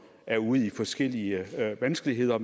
er ude i forskellige vanskeligheder